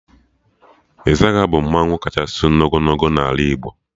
Izaga bụ mmanwụ kachasị n'ogologo n'ala Igbo